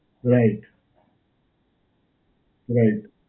right. right.